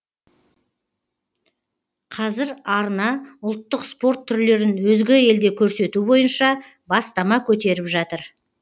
қазір арна ұлттық спорт түрлерін өзге елде көрсету бойынша бастама көтеріп жатыр